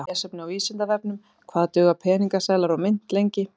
Meira lesefni á Vísindavefnum Hvað duga peningaseðlar og mynt lengi?